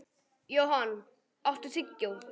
Johan, áttu tyggjó?